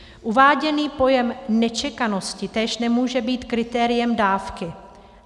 Uváděný pojem nečekanosti též nemůže být kritériem dávky.